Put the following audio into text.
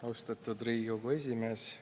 Austatud Riigikogu esimees!